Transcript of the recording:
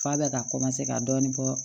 F'a bɛ ka ka dɔɔnin bɔ